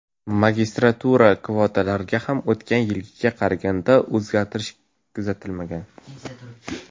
Magistratura kvotalarida ham o‘tgan yilgiga qaraganda o‘zgarish kuzatilmagan.